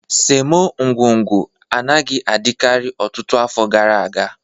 Semo ngwugwu anaghị adịkarị ọtụtụ afọ gara aga